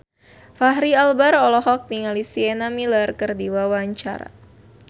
Fachri Albar olohok ningali Sienna Miller keur diwawancara